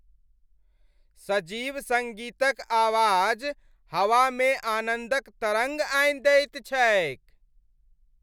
सजीव सङ्गीतक आवाज हवामे आनन्दक तरङ्ग आनि दैत छैक।